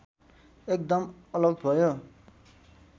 एकदम अलग भयो